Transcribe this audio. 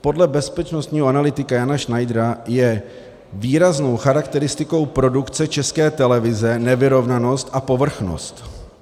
Podle bezpečnostního analytika Jana Schneidera je výrazovou charakteristikou produkce České televize nevyrovnanost a povrchnost.